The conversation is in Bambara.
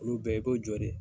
Olu bɛɛ i b'o jɔ dɛ!